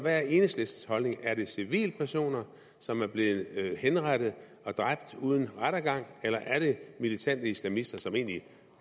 er enhedslistens holdning er det civilpersoner som er blevet henrettet uden rettergang eller er det militante islamister som egentlig